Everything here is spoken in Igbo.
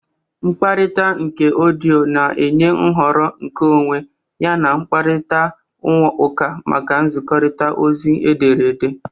Mkparita uka odiyo na-enye nhọrọ nkeonwe yana mkparịta ụka maka nzikọrịta ozi ederede.